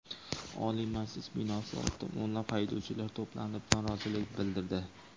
Oliy Majlis binosi oldida o‘nlab haydovchilar to‘planib, norozilik bildirdi.